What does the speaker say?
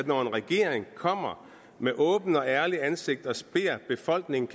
når en regering kommer med åbent og ærligt ansigt og beder befolkningen